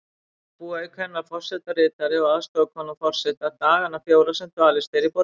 Þar búa auk hennar forsetaritari og aðstoðarkona forseta dagana fjóra sem dvalist er í borginni.